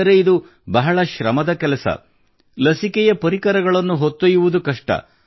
ಆದರೆ ಇದು ಬಹಳ ಶ್ರಮದ ಕೆಲಸ ಲಸಿಕೆಯ ಪರಿಕರಗಳನ್ನು ಹೊತ್ತೊಯ್ಯುವುದು ಕಷ್ಟ